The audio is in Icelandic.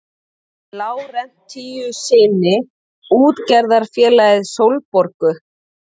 Lárentsíussyni útgerðarfélagið Sólborgu.